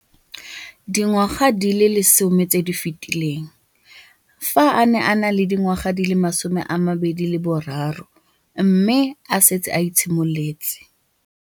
Dingwaga di le 10 tse di fetileng, fa a ne a le dingwaga di le 23 mme a setse a itshimoletse